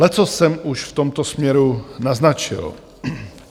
Leccos jsem už v tomto směru naznačil.